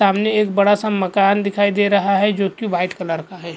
सामने एक बड़ा सा मकान दिखाई दे रहा है जो की व्हाइट कलर का है।